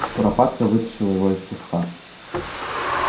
куропатка вытащила его из куста